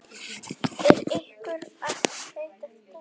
Er ykkur heitt eftir dansinn?